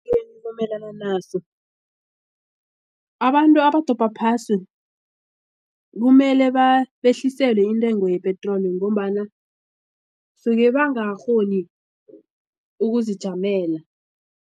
ngivumelana naso abantu abadobha phasi kumele behliselwe intengo yepetroli ngombana suka bangakakghoni ukuzijamela.